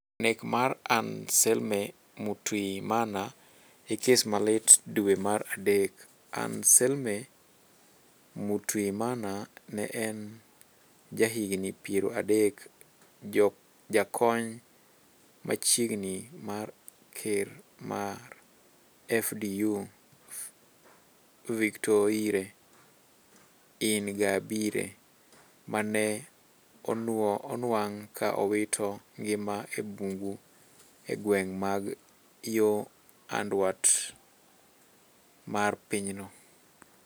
nek mar Anselme Mutuyimana e kes ma lit dwe mar adek. Anselme Mutuyimana ne en ja higni piero adek. jakony machiegni mar ker mar FDU Victoire Ingabire. ma ne onuang' ka owito ngimane e bungu e gwenge mag yo anduat mar pinyno